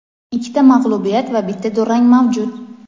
ikkita mag‘lubiyat va bitta durang mavjud.